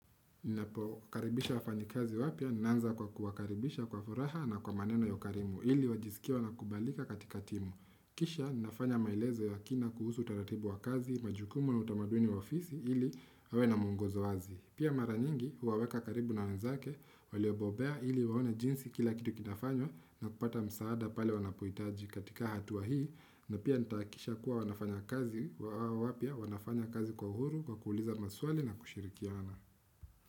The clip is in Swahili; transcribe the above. Napo karibisha wafanyikazi wapya, naanza kwa kuwakaribisha kwa furaha na kwa maneno ya ukarimu, ili wajisikie wanakubalika katika timu. Kisha, nafanya maelezo ya kina kuhusu taratibu wa kazi, majukumu na utamaduni wa ofisi, ili wawe na muongozo wazi. Pia mara nyingi, huwaweka karibu na wanzake, waliobobea ili waone jinsi kila kitu kinafanywa na kupata msaada pale wanapohitaji katika hatua hii, na pia nitaakisha kuwa wanafanya kazi wapya, wanafanya kazi kwa uhuru, kwa kuuliza maswali na kushirikiana.